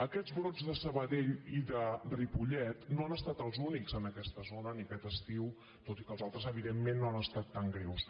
aquests brots de sabadell i de ripollet no han estat els únics en aquesta zona ni aquest estiu tot i que els altres evidentment no han estat tan greus